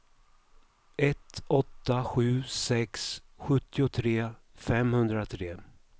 ett åtta sju sex sjuttiotre femhundratre